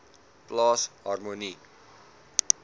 plaas harmonie